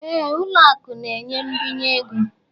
Éè, ụlọ akụ na-enye mbinye ego